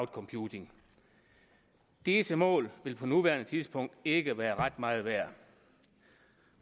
computing disse mål vil på nuværende tidspunkt ikke være ret meget værd